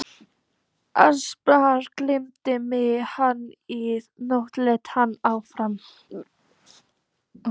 Annars dreymdi mig hana í nótt, hélt hann áfram.